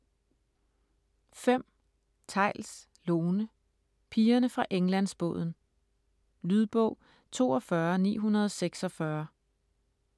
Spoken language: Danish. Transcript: Theils, Lone: Pigerne fra Englandsbåden Lydbog 42946